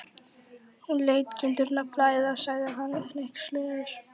Hún lét kindurnar flæða, sagði hann hneykslaður.